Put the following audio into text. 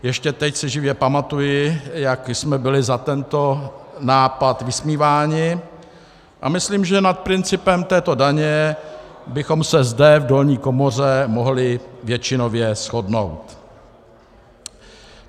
Ještě teď si živě pamatuji, jak jsme byli za tento nápad vysmíváni, a myslím, že nad principem této daně bychom se zde v dolní komoře mohli většinově shodnout.